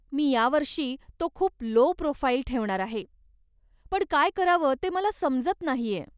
मी या वर्षी तो खूप लो प्रोफाइल ठेवणार आहे, पण काय करावं ते मला समजत नाहीय.